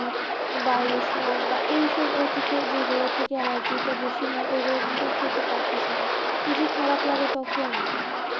বা ইলিশ মাছ বা এইসব আর কিছু যেইগুলা থেকে allergy টা বেশি হয় ওইগুলা কিন্তু খেতে পারতেছি না কি যে খারাপ লাগে তখন